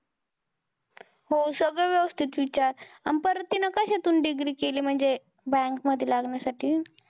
हो सगळं व्यवस्थित विचार. अन परत तिनं कशातून degree केली म्हणजे bank मध्ये लागण्यासाठी?